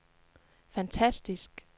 fantastisk